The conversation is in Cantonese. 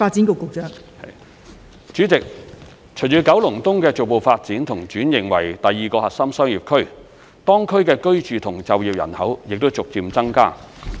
代理主席，隨着九龍東的逐步發展和轉型為第二個核心商業區，當區的居住和就業人口正逐漸增加。